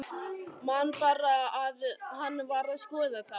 Man bara að hann var að skoða þá.